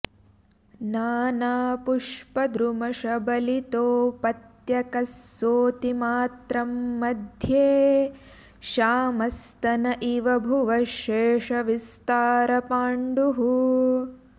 नानापुष्पद्रुमशबलितोपत्यकः सोतिमात्रं मध्ये श्यामः स्तन इव भुवः शेषविस्तारपाण्डुः